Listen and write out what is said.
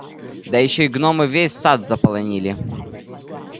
да ещё и гномы весь сад заполонили